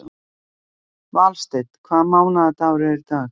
Valsteinn, hvaða mánaðardagur er í dag?